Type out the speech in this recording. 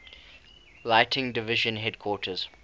lighting division headquarters